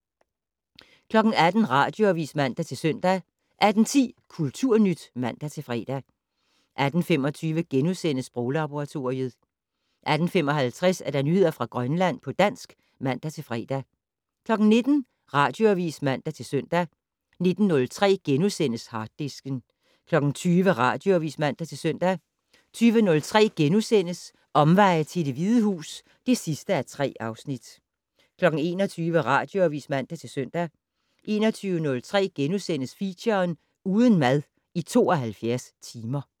18:00: Radioavis (man-søn) 18:10: Kulturnyt (man-fre) 18:25: Sproglaboratoriet * 18:55: Nyheder fra Grønland på dansk (man-fre) 19:00: Radioavis (man-søn) 19:03: Harddisken * 20:00: Radioavis (man-søn) 20:03: Omveje til Det Hvide Hus (3:3)* 21:00: Radioavis (man-søn) 21:03: Feature: Uden mad i 72 timer *